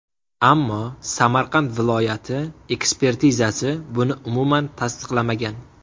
Ammo Samarqand viloyati ekspertizasi buni umuman tasdiqlamagan.